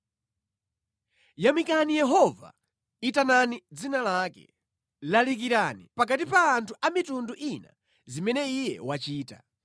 Yamikani Yehova, itanani dzina lake; lalikirani pakati pa anthu a mitundu ina zimene Iye wachita.